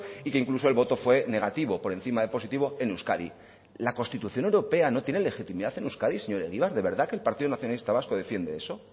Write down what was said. y que incluso el voto fue negativo por encima de positivo en euskadi la constitución europea no tiene legitimidad en euskadi señor egibar de verdad que el partido nacionalista vasco defiende eso